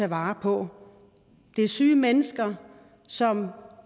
vare på det er syge mennesker som